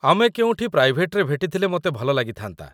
ଆମେ କେଉଁଠି ପ୍ରାଇଭେଟ୍‌ରେ ଭେଟିଥିଲେ ମୋତେ ଭଲ ଲାଗିଥାନ୍ତା ।